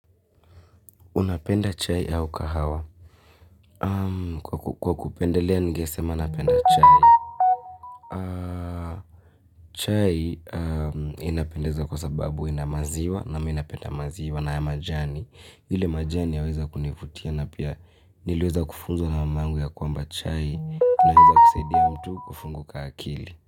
Unapenda chai au kahawa? Kwa kupendelea ningesema napenda chai. Chai inapendeza kwa sababu ina maziwa, na mi napenda maziwa na ya majani. Ile majani yaweza kunivutia na pia niliweza kufunzwa na mama yangu ya kwamba chai. Inaeza kusaidia mtu kufunguka akili.